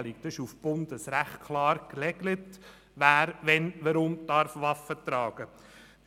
Es ist auf Bundesebene rechtlich klar geregelt, wer wann weshalb Waffen tragen darf.